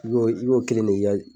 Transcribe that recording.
I b'o i b'o kelen de